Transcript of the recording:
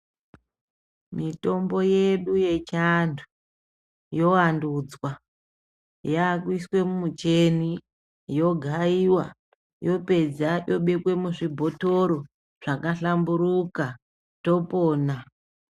Mitombo yedu yechiantu yovantudzwa yakuiswa mumicheni yogayiwa yopedza yobekwe muzvibhotoro zvakhlamburuka topona.